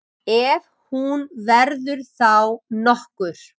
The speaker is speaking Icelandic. Ef hún verður þá nokkur.